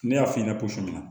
Ne y'a f'i ɲɛna cogo min na